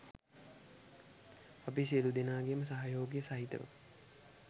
අපි සියලුදෙනාගේම සහයෝගය සහිතව